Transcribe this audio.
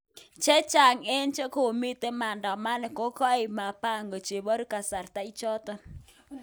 Chengchaang eng chekomiten maadamano kokokaip mabango cheparu kasartan ichano.